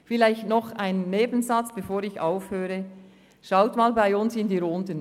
Vielleicht zum Schluss noch eine Bemerkung: Sehen Sie einmal in die Runde.